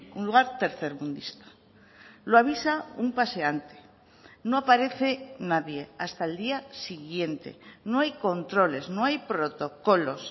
un lugar tercermundista lo avisa un paseante no aparece nadie hasta el día siguiente no hay controles no hay protocolos